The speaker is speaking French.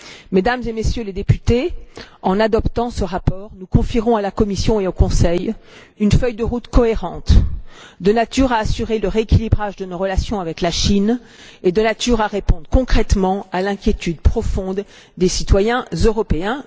Mesdames et Messieurs les députés, en adoptant ce rapport, nous confierons à la Commission et au Conseil une feuille de route cohérente, de nature à assurer le rééquilibrage de nos relations avec la Chine et à répondre concrètement à l'inquiétude profonde des citoyens européens.